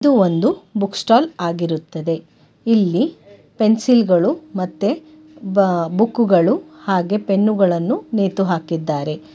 ಇದು ಒಂದು book stall ಆಗಿರುತ್ತದೆ ಇಲ್ಲಿ ಪೆನ್ಸಿಲ್ ಗಳು ಮತ್ತೆ ಬ ಬುಕ್ಕುಗಳು ಹಾಗೆ ಪೆನ್ನುಗಳನ್ನು ನೇತು ಹಾಕಿದ್ದಾರೆ.